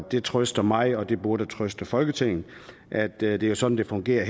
det trøster mig og det burde trøste folketinget at det det er sådan det fungerer